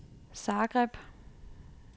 Zagreb